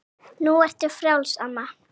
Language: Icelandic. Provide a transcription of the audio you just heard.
Nú ertu frjáls, amma.